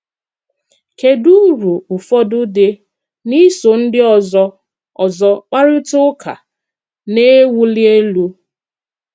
kedụ ùrụ̀ ụfọdụ́ dị́ n’ísò ndị ọzọ́ ọzọ́ kparịta ụka na-ewuli elú?